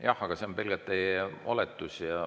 Jah, aga see on pelgalt teie oletus.